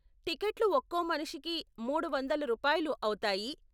టికెట్లు ఒక్కో మనిషికి మూడు వందలు రూపాయలు అవుతాయి.